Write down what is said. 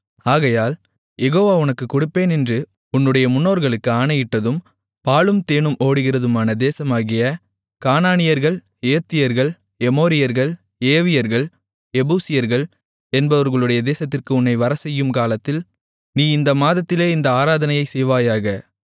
ஆகையால் யெகோவா உனக்குக் கொடுப்பேன் என்று உன்னுடைய முன்னோர்களுக்கு ஆணையிட்டதும் பாலும் தேனும் ஓடுகிறதுமான தேசமாகிய கானானியர்கள் ஏத்தியர்கள் எமோரியர்கள் ஏவியர்கள் எபூசியர்கள் என்பவர்களுடைய தேசத்திற்கு உன்னை வரச்செய்யும் காலத்தில் நீ இந்த மாதத்திலே இந்த ஆராதனையை செய்வாயாக